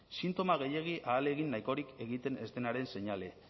sintoma gehiegi ahalegin nahikorik egiten ez denaren seinale